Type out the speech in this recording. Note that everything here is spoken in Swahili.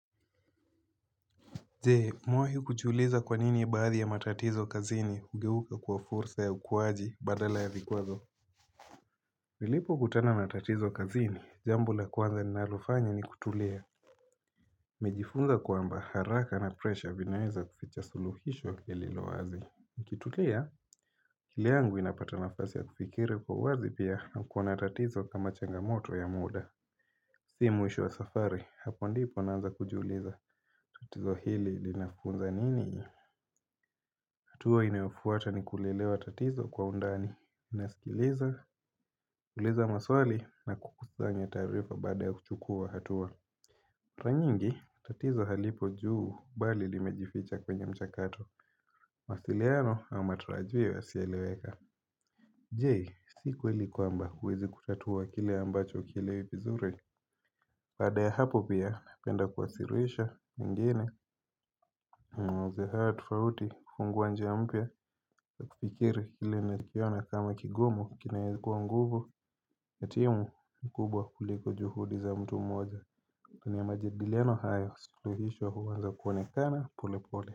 Je, umewahi kujiuliza kwa nini baadhi ya matatizo kazini hugeuka kuwa fursa ya ukuwaji badala ya vikwazo. Nilipo kutana matatizo kazini, jambo la kwanza ninalofanya ni kutulia. Nimejifunza kwamba haraka na presha vinaweza kuficha suluhisho kililo wazi. Nikitulia, akili yangu inapata nafasi ya kufikiri kwa wazi pia na kuona tatizo kama changamoto ya muda. Si mwisho wa safari, hapo ndipo naanza kujiuliza. Tatizo hili linafunza nini? Hatua inayofuata ni kulielewa tatizo kwa undani nasikiliza, kuuliza maswali na kukusanya taarifa baada ya kuchukua hatua mara nyingi, tatizo halipo juu bali limejificha kwenye mchakato mawasiliano au matarajio yasiyoeleweka Je, sikweli kwamba huwezi kutatua kile ambacho hukielewi vizuri Baada ya hapo pia, napenda kuwaasilisha ingine mawazo haya tofauti kufungua njia mpya ya kufikiri ile nakiona kama kigumu kinayeza kuwa nguvu ya timu mkubwa kuliko juhudi za mtu mmoja kwenye ya majadiliano hayo suluhisho huanza kuonekana pole pole.